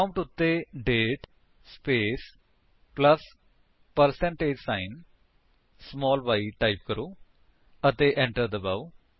prompt ਉੱਤੇ ਦਾਤੇ space plus percentage sign small y type ਕਰੋ ਅਤੇ enter ਦਬਾਓ